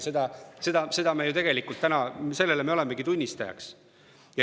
Sellele me ju tegelikult olemegi praegu tunnistajaks.